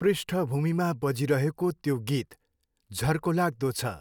पृष्ठभूमिमा बजिरहेको त्यो गीत झर्कोलाग्दो छ।